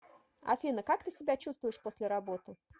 афина как ты себя чувствуешь после работы